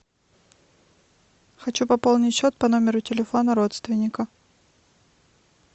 хочу пополнить счет по номеру телефона родственника